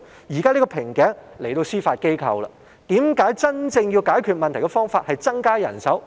現時瓶頸在司法機構，為何真正解決問題的方法不是增加人手？